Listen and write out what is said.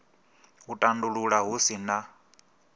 u tandulula hu si na